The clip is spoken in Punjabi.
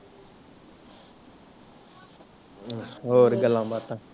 ਹੋਰ ਗਲਾ ਬਾਤਾਂ